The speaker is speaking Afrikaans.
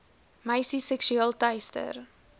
meisies seksueel teister